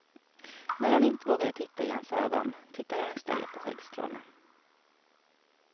När hon inte vågade titta i hans ögon tittade hon i stället på skäggstråna.